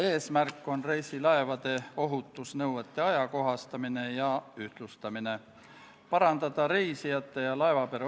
Esimene lugemine toimus k.a 25. septembril.